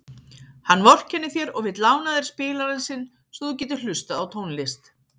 Hann vorkennir þér og vill lána þér spilarann sinn svo þú getir hlustað á tónlist.